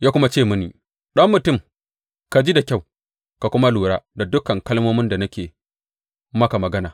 Ya kuma ce mini, Ɗan mutum, ka ji da kyau ka kuma lura da dukan kalmomin da nake maka magana.